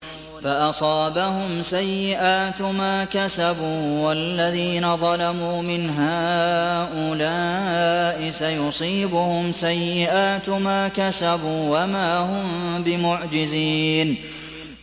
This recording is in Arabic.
فَأَصَابَهُمْ سَيِّئَاتُ مَا كَسَبُوا ۚ وَالَّذِينَ ظَلَمُوا مِنْ هَٰؤُلَاءِ سَيُصِيبُهُمْ سَيِّئَاتُ مَا كَسَبُوا وَمَا هُم بِمُعْجِزِينَ